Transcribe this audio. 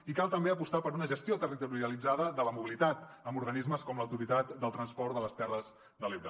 i cal també apostar per una gestió territorialitzada de la mobilitat amb organismes com l’autoritat del transport de les terres de l’ebre